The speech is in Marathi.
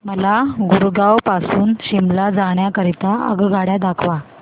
मला गुरगाव पासून शिमला जाण्या करीता आगगाड्या दाखवा